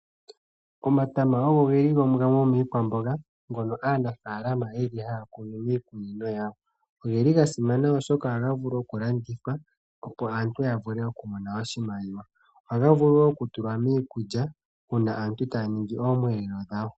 Omatama ogo ge li gamwe gomiikwamboga ngono aanafalama ye li haya kunu miikunino yawo. Oge li ga simana oshoka ohaga landithwa, opo aantu ya vule okumone imaliwa yawo. Ohaga vulu wo okutulwa miikulya uuna aantu taya ningi oomweelelo dhawo.